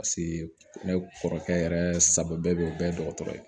Paseke ne kɔrɔkɛ yɛrɛ sago bɛɛ bɛ ye o bɛɛ ye dɔgɔtɔrɔ ye